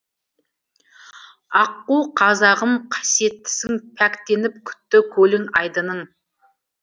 аққу қазағым қасиеттісің пәктеніп күтті көлің айдының